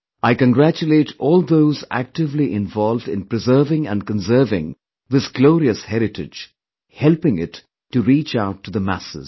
I congratulate all those actively involved in preserving & conserving this glorious heritage, helping it to reach out to the masses